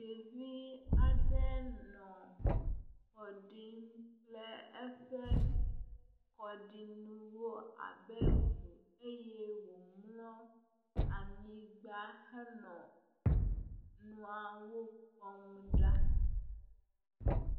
Ɖevi aɖe nɔ kɔ ɖim kple eƒe kɔɖinuwo abe ŋu eye womlɔ anyigba henɔ nuawo kpɔm ɖa.